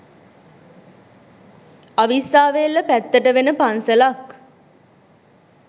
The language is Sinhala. අවිස්සාවේල්ල පැත්තට වෙන පන්සලක්